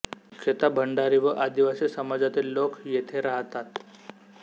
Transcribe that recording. मुख्यतः भंडारी व आदिवासी समाजातील लोक येथे राहतात